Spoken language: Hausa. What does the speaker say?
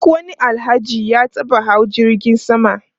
Duk wani Alhaji ya taba hawa jirgin sama.